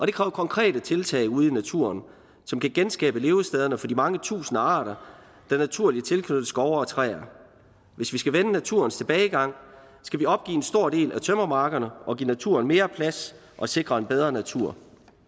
det kræver konkrete tiltag ude i naturen som kan genskabe levestederne for de mange tusinde arter der naturligt er tilknyttet skove og træer hvis vi skal vende naturens tilbagegang skal vi opgive en stor del af tømmermarkerne og give naturen mere plads og sikre en bedre natur